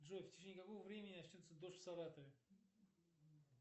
джой в течение какого времени начнется дождь в саратове